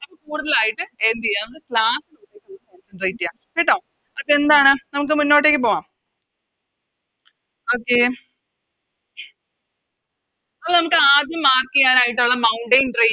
കൂടുതലായിട്ട് എന്തേയാണ് Class Celebrate ചെയ്യാം അപ്പൊ എന്താണ് നമുക്ക് മുന്നോട്ടേക്ക് പോകാം Okay അപ്പൊ നമുക്കാദ്യം Mark ചെയ്യാനായിട്ടുള്ള Mountain range